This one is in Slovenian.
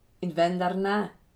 In vendar ne!